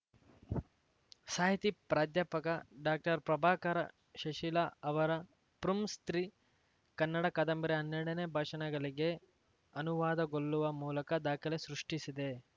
ಸಾಹಿತಿ ಪ್ರಾಧ್ಯಾಪಕ ಡಾಕ್ಟರ್ಪ್ರಭಾಕರ ಶಿಶಿಲ ಅವರ ಪುಂಸ್ತ್ರೀ ಕನ್ನಡ ಕಾದಂಬರಿ ಹನ್ನೆರಡನೇ ಭಾಷೆಣೆಗಳಿಗೆ ಅನುವಾದಗೊಳ್ಳುವ ಮೂಲಕ ದಾಖಲೆ ಸೃಷ್ಟಿಸಿದೆ